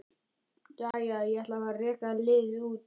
Jæja, ég ætla að fara að reka liðið út.